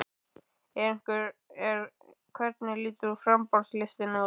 En hvernig lítur framboðslistinn út?